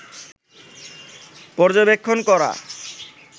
পর্যবেক্ষণ করা